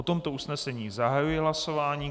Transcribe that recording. O tomto usnesení zahajuji hlasování.